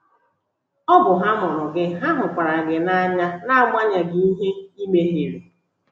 Ọ bụ ha mụrụ gị, ha hụkwara gị n’anya n’agbanyeghị ihe ị mehiere.